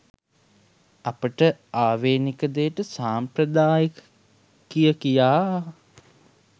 අපට ආවේනික දේට සම්ප්‍රදායික කියකියා